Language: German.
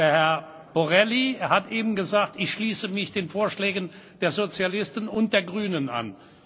Herr Borrelli hat eben gesagt, er schließt sich den Vorschlägen der Sozialisten und der Grünen an.